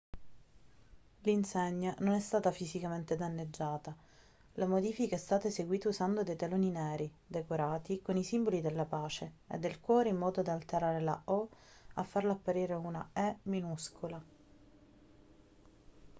l'insegna non è stata fisicamente danneggiata la modifica è stata eseguita usando dei teloni neri decorati con i simboli della pace e del cuore in modo da alterare la o e farla apparire una e minuscola